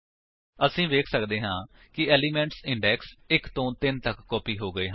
ਅਸੀ ਵੇਖ ਸੱਕਦੇ ਹਾਂ ਕਿ ਏਲਿਮੇਂਟਸ ਇੰਡੇਕਸ 1 ਤੋ 3 ਤੱਕ ਕਾਪੀ ਹੋ ਗਏ ਹਨ